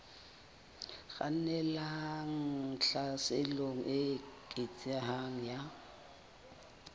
kgannelang tlhaselong e eketsehang ya